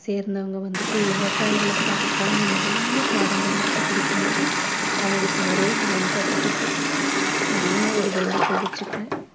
சேர்ந்தவங்க வந்துட்டு விவசாயிகளுக்கு அதுக்கான நிறைய பாடங்களை எடுத்து குடுக்கணும் அவங்களுக்கு நிறைய பயன்படுறதுக்கு அப்படின்னு ஒரு வேண்டுகோள் வெச்சிக்கிறேன்